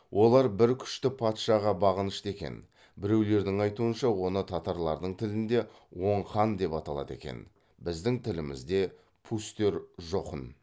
олар бір күшті патшаға бағынышты екен біреулердің айтуынша оны татарлардың тілінде оң хан деп аталады екен біздің тілімізде пустер жохн